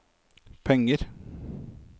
penger